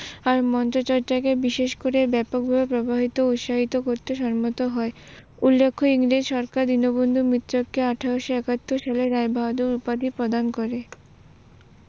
আর মধ্য চর্চাকে বিশেষ করে ব্যপকভাবে ব্যবহৃত উৎসাহিত করতে সংবদ্ধ হয়, উল্লেখ্য ইংরেজ সরকার দীনবন্ধু মিত্রাকে আঠারোশো একাত্তর সালে রায়বাহাদুর উপাধি প্রদান করে